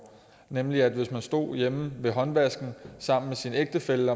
nemlig at hvis man stod hjemme ved håndvasken sammen med sin ægtefælle